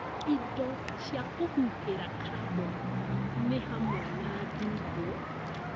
Indo cia kũhuhĩra kaboni nĩ hamwe na ndumbo,